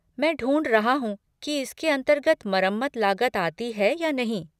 मैं ढूँढ रहा हूँ कि इसके अंतर्गत मरम्मत लागत आती है या नहीं।